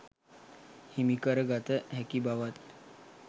හිමි කර ගත හැකි බවත්